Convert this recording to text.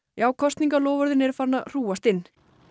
já kosningaloforðin eru farin að hrúgast inn